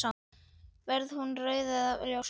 Verður hún rauð eða ljósblá?